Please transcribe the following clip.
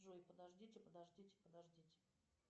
джой подождите подождите подождите